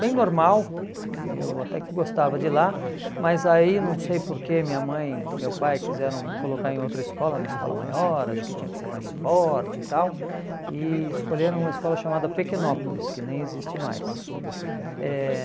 Bem normal, eu até que gostava de ir lá, mas aí não sei porque minha mãe e meu pai quiseram me colocar em outra escola, uma escola maior, acho que tinha que ser mais forte e tal, e escolheram uma escola chamada Pequenópolis, que nem existe mais. Eh